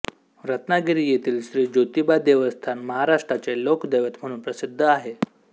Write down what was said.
रत्नागिरी येथील श्री ज्योतिबादेवस्थान महाराष्ट्राचे लोकदैवत म्हणून प्रसिद्ध आहे